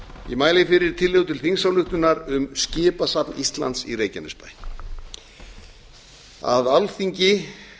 ég mæli fyrir tillögu til þingsályktunar um skipasafn íslands í reykjanesbæ að alþingi